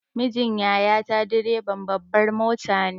Mijin yaya ta direban babbar mota ne.